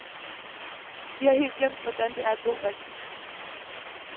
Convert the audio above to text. Vi har helt glemt, hvordan det er at bo rigtigt.